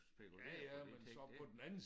Spekulere på de ting det